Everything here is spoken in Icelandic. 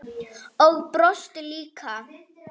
Og brosti líka.